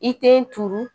I te turu